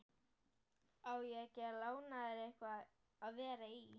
Á ég ekki að lána þér eitthvað að vera í?